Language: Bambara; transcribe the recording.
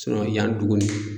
yan dugu nin